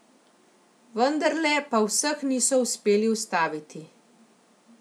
Vendarle pa vseh niso uspeli ustaviti.